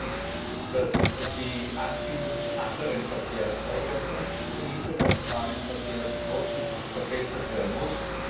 Das erste ist, dass die Anbindung zu anderen Verkehrsträgern und zu den internationalen Verkehrsknoten verbessert werden muss